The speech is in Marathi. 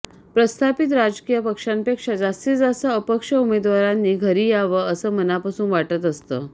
प्रस्थापित राजकीय पक्षांपेक्षा जास्तीत जास्त अपक्ष उमेदवारांनी घरी यावं असं मनापासून वाटत असतं